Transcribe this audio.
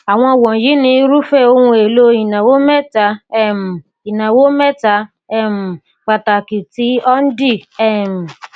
àwọn wọnyìí ni irúfẹ ohun èlò ìnáwó mẹta um ìnáwó mẹta um pàtàkì tí ọndì um